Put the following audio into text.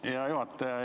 Hea juhataja!